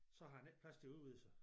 Så har den ikke plads til at udvide sig